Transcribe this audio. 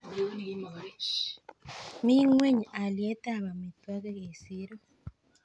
mi ngweny alietab amiitwok eng siiro